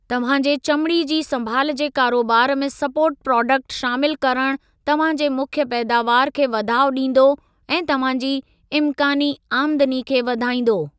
तव्हां जे चमिड़ी जी संभाल जे कारोबार में सपोर्ट प्राडक्ट शामिलु करणु तव्हां जे मुख्य पैदावार खे वाधाउ ॾींदो ऐं तव्हां जी इमकानी आमदनी खे वधाईंदो।